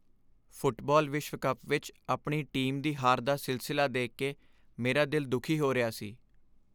Football ਵਿਸ਼ਵ cup ਵਿੱਚ ਆਪਣੀ ਟੀਮ ਦੀ ਹਾਰ ਦਾ ਸਿਲਸਿਲਾ ਦੇਖ ਕੇ ਮੇਰਾ ਦਿਲ ਦੁਖੀ ਹੋ ਰਿਹਾ ਸੀ।